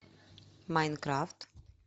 майнкрафт